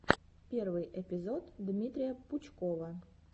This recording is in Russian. первый эпизод дмитрия пучкова